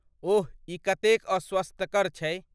ओह ई कतेक अस्वास्थकर छै।